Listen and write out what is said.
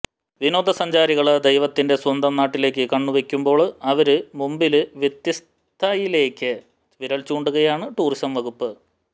വിനോദസഞ്ചാരികള് ദൈവത്തിന്റെ സ്വന്തം നാട്ടിലേക്ക് കണ്ണുവയ്ക്കുമ്പോള് അവര് മുമ്പില് വ്യത്യസ്ഥയിലേക്ക് വിരല് ചൂണ്ടുകയാണ് ടൂറിസം വകുപ്പ്